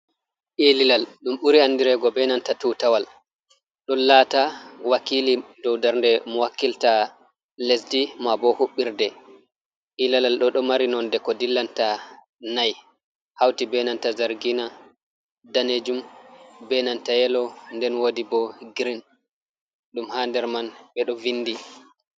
Ilalal ɗum ɓuri andirego be nanta tutawal. Ɗon lata wakkili dou ndarnde mo-wakkilta lesdi mabo huɓɓirde. ilalal ɗo ɗo mari nonde ko-dillanta nayi hauti be nanta zargina, danejum be nanta yelo nden wodi bo giriin ɗum ha nder man ɓe ɗo vindi.